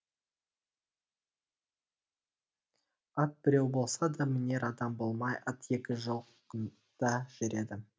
ат біреу болса да мінер адам болмай ат екі жыл жылқыда жүреді